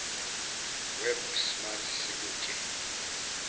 web smart sikutshe